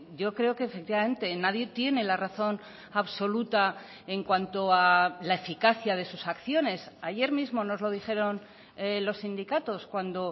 yo creo que efectivamente nadie tiene la razón absoluta en cuanto a la eficacia de sus acciones ayer mismo nos lo dijeron los sindicatos cuando